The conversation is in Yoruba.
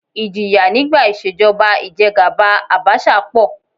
Ìjìyà nígbà ìṣèjọba ìjẹgàba Àbaṣà pọ̀